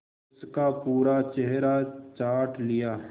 उसका पूरा चेहरा चाट लिया